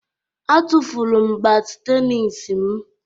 Atufuru m bat tenis m